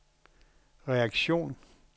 reaktion